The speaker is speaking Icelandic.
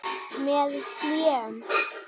Með hléum.